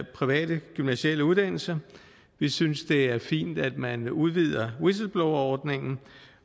private gymnasiale uddannelser vi synes det er fint at man udvider whistleblowerordningen